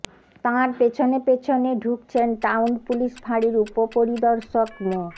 তাঁর পেছনে পেছনে ঢুকছেন টাউন পুলিশ ফাঁড়ির উপপরিদর্শক মো